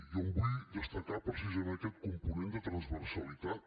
jo en vull destacar precisament aquest component de transversalitat